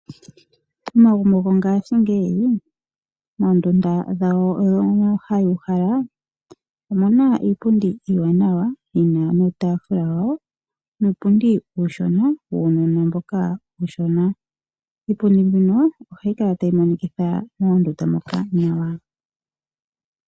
Omagumbo gongaashingeyi moondunda dhago dhokuuhala omuna iipundi iiwaanawa yina niitaafula yawo nuupundi uushona wuunona mboka uushona ,iipundimbino ohayi kala tayi monikitha moondunda moka nawa.